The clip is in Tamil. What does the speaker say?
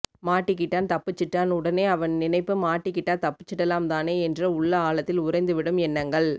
மாட்டிகிட்டான் தப்பிச்சுட்டான் உடனே அவன் நினைப்பு மாட்டிக்கிட்டா தப்பிச்சுடலாம் தானே என்று உள்ள ஆழத்தில் உறைந்து விடும் எண்ணங்கள்